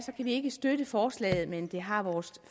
ikke støtte forslaget men det har vores